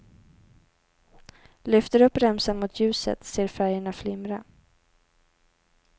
Lyfter upp remsan mot ljuset, ser färgerna flimra.